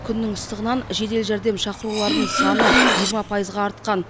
күннің ыстығынан жедел жәрдем шақырулардың саны жиырма пайызға артқан